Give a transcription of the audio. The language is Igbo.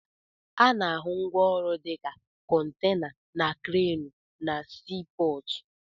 Ana-ahụ ngwaọrụ dịka kọntena na kreenụ na sii pọọtụ.